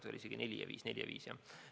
Või oli see hoopis 2004 ja 2005?